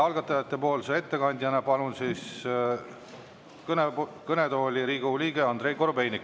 Algatajate ettekandjana palun kõnetooli Riigikogu liikme Andrei Korobeiniku.